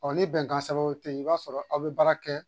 Ɔ ni bɛnkan sɛbɛnw ten yen i b'a sɔrɔ aw bɛ baara kɛ